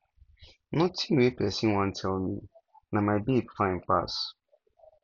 nothing wey person wan tell me na my babe fine pass